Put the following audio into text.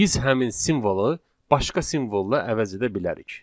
Biz həmin simvolu başqa simvolla əvəz edə bilərik.